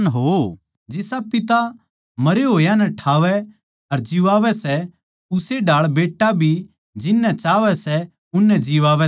जिसा पिता मरे होया नै ठावै अर जिवांवै सै उस्से ढाळ बेट्टा भी जिननै चाहवै सै उननै जिवांवै सै